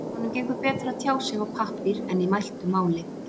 Honum gengur betur að tjá sig á pappír en í mæltu máli.